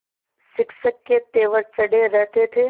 शिक्षक के तेवर चढ़े रहते थे